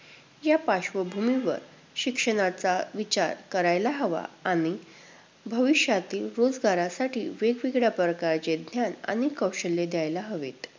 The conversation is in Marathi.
या पार्श्वभूमीवर शिक्षणाचा विचार करायला हवा आणि भविष्यातील, रोजगारासाठी वेगवेगळ्या प्रकारचे अध्ययन आणि कौशल्य द्यायला हवेत.